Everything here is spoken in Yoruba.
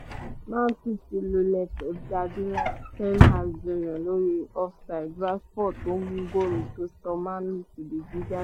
man city lulẹ̀ pep guardiola jiyàn lórí fifty two naira offside fifty two naira rashford tó mú góòlù tó sọ man utd fìdí jálẹ̀